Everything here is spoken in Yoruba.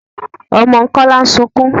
Ọmọ Kọ́lá ń sukún.